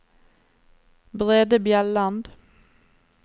Brede Bjelland